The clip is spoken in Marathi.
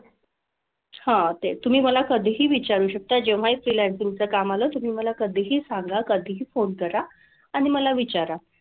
हां ते तुम्ही मला कधीही विचारू शकता जेव्हाही freelancing चं काम आलं, तुम्ही मला कधीही सांगा, कधीही phone करा. आणि मला विचारा.